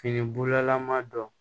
Fini bulalama dɔn